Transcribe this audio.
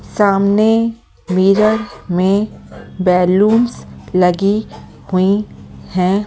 सामने मिरर में बैलूंस लगी हुई हैं ।